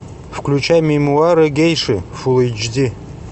включай мемуары гейши фул эйч ди